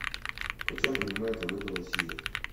почем принимают валюту в россии